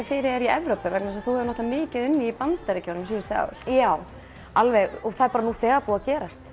fyrir þig í Evrópu þú hefur mikið unnið í Bandaríkjunum síðustu ár já alveg nú þegar búið að gerast